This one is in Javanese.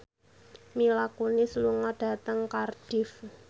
Mila Kunis lunga dhateng Cardiff